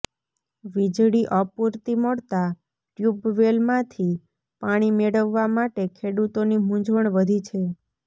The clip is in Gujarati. વીજળી અપૂરતી મળતા ટ્યુબવેલમાંથી પાણી મેળવવા માટે ખેડૂતોની મુંઝવણ વધી છે